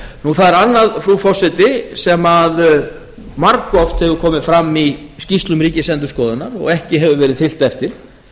það er annað frú forseti sem margoft hefur komið fram í skýrslum ríkisendurskoðunar og ekki hefur verið fylgt eftir